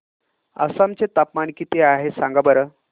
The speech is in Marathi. आसाम चे तापमान किती आहे सांगा बरं